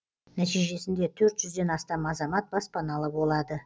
нәтижесінде төрт жүзден астам азамат баспаналы болады